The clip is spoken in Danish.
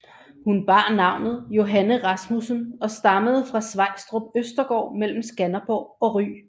Hun bar navnet Johanne Rasmussen og stammede fra Svejstrup Østergaard mellem Skanderborg og Ry